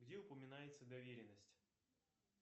где упоминается доверенность